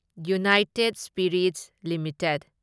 united Spirits limited